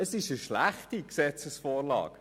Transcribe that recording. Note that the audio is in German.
Es ist eine schlechte Gesetzesvorlage.